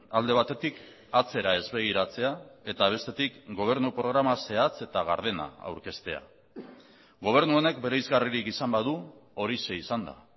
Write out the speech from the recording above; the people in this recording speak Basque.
alde batetik atzera ez begiratzea eta bestetik gobernu programa zehatz eta gardena aurkeztea gobernu honek bereizgarririk izan badu horixe izan da